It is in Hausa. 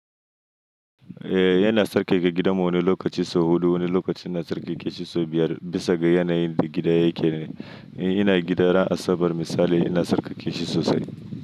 Ehh ina sarƙaƙa gidan mu wani lokaci sau huɗu, wani lokacin ina sarƙaƙe shi sau biyar, bisa ga yanayin da gida yake ne. Ina gidan ran Asabar misali, ina sarƙaƙe shi sosai.